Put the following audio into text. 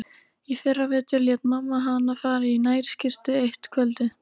Í fyrravetur lét mamma hana fara í nærskyrtu eitt kvöldið.